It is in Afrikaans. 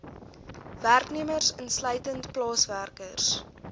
werknemers insluitend plaaswerkers